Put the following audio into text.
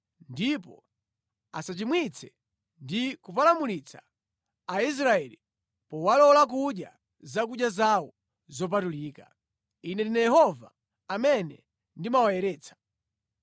ndipo asachimwitse ndi kupalamulitsa Aisraeli powalola kudya zakudya zawo zopatulika. Ine ndine Yehova amene ndimawayeretsa.’ ”